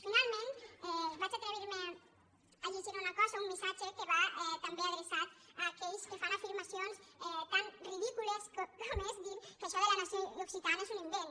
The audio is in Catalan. finalment m’atreviré a llegir una cosa un missatge que va també adreçat a aquells que fan afirmacions tan ridícules com és dir que això de la nació occita·na és un invent